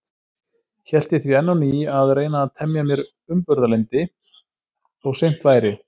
Hét ég því enn á ný að reyna að temja mér umburðarlyndi, þó seint væri.